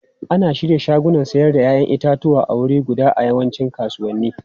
Ana shirya shagunan sayar da 'ya'yan itatuwa a wuri guda a yawancin kasuwanni.